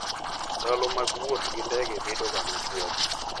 Ndalo mag wuoth gi ndege bedoga machuok.